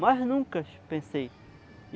Mas nunca que pensei.